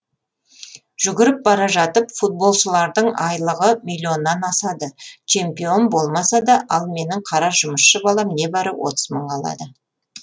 жүгіріп бара жатып футболшылардың айлығы миллионнан асады чемпион болмаса да ал менің қара жұмысшы балам небәрі отыз мың алады